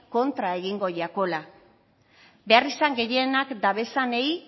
kontra egingo jakola beharrizan gehienak dabezanei